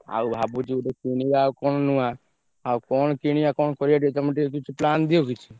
ଆଉ ଭାବୁଛି ଗୋଟେ କିଣିଆ ଆଉ କଣ ନୁଆ ଆଉ କଣ କିଣିଆ କଣ କରିଆ ଟିକେ ତମେ ଟିକେ କିଛି plan ଦିଅ କିଛି।